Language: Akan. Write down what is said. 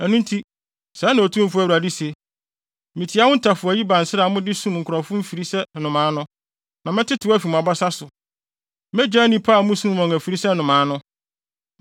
“ ‘Ɛno nti, sɛɛ na Otumfo Awurade se: Mitia mo ntafowayi bansrɛ a mode sum nkurɔfo mfiri sɛ nnomaa no, na mɛtetew afi mo abasa so; megyaa nnipa a musum wɔn afiri sɛ nnomaa no.